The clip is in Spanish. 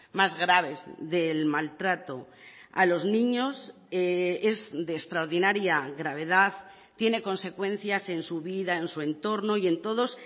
más graves del maltrato a los niños es de extraordinaria gravedad tiene consecuencias en su vida en su entorno y en todos